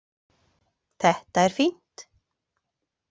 Þetta er fínt.